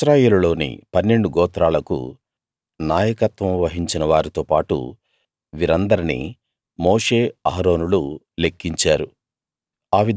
ఇశ్రాయేలులోని పన్నెండు గోత్రాలకు నాయకత్వం వహించిన వారితో పాటు వీరందర్నీ మోషే అహరోనులు లెక్కించారు